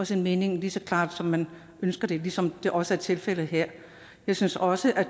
sin mening lige så klart som man ønsker det ligesom det også er tilfældet her jeg synes også at